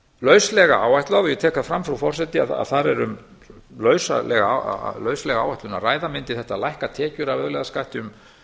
lauslega áætlað og ég tek það fram frú forseti að þar er um lauslega áætlun að ræða mundi þetta lækka tekjur af auðlegðarskatti um